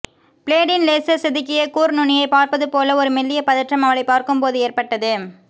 பிளேடின் லேசர்செதுக்கிய கூர்நுனியைப் பார்ப்பதுபோல ஒரு மெல்லிய பதற்றம் அவளைப் பார்க்கும்போது ஏற்பட்டது